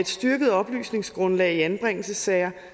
styrket oplysningsgrundlag i anbringelsessager